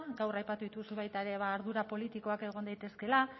gaur aipatu dituzu baita ere ba ardura politikoak egon daitezkeela